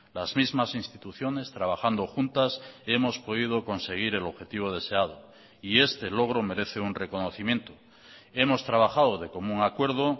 las mismas instituciones trabajando juntas hemos podido conseguir el objetivo deseado y este logro merece un reconocimiento hemos trabajado de común acuerdo